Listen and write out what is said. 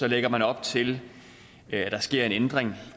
lægger man op til at der sker en ændring